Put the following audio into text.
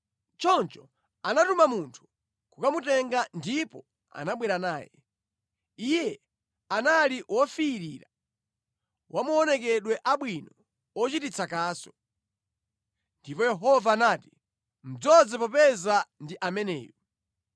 Choncho anatuma munthu kukamutenga ndipo anabwera naye. Iye anali wofiirira, wa maonekedwe abwino ochititsa kaso. Ndipo Yehova anati, “Mudzoze popeza ndi ameneyu.”